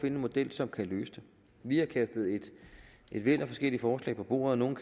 en model som kan løse det vi har kastet et væld af forskellige forslag på bordet nogle